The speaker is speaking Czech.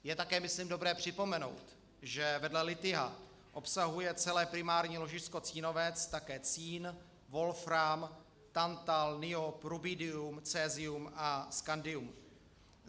Je také myslím dobré připomenout, že vedle lithia obsahuje celé primární ložisko Cínovec také cín, wolfram, tantal, niob, rubidium, cesium a scandium.